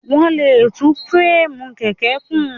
Wọ́n lè tún fúréèmù kẹ̀kẹ́ kùn.